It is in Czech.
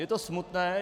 Je to smutné.